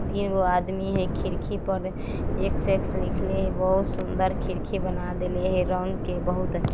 तीन गो आदमी हई खिड़की पर एक्स एक्स लिखले हई बहुत सुन्दर खिड़की बना देले हई रंग के बहुत अच्छा --